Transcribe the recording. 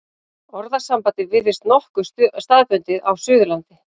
Orðasambandið virðist nokkuð staðbundið á Suðurlandi.